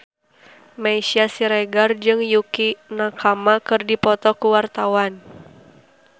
Meisya Siregar jeung Yukie Nakama keur dipoto ku wartawan